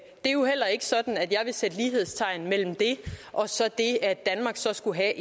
er jo heller ikke sådan at jeg vil sætte lighedstegn mellem det og så det at danmark skulle have